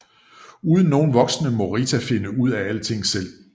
Uden nogen voksne må Rita finde ud af alting selv